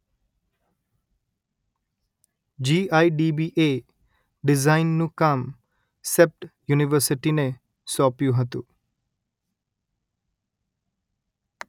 GIDB એ ડિઝાઈનનું કામ સેપ્ટ યુનિવર્સીટીને સોપ્યું હતું